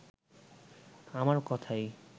আমার কথাই